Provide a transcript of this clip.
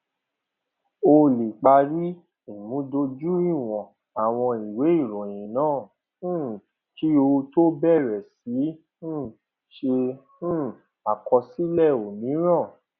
ó lè parí ìmúdójúìwọn àwọn ìwé ìròyìn náà um kí ó tó bẹrẹ sí um ṣe um àkọsílẹ òmíràn